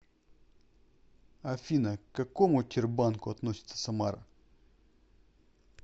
афина к какому тербанку относится самара